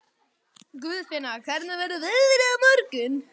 Guðfinna, hvernig verður veðrið á morgun?